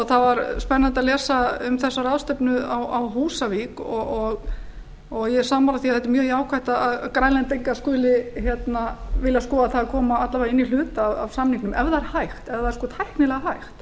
það var spennandi að lesa um þessa ráðstefnu á húsavík og ég er sammála því að þetta er mjög jákvætt að grænlendingar skuli vilja skoða það að koma alla vega inn í hluta af samningnum ef það er tæknilega hægt